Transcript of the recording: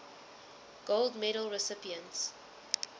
gold medal recipients